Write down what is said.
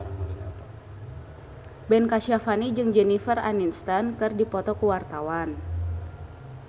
Ben Kasyafani jeung Jennifer Aniston keur dipoto ku wartawan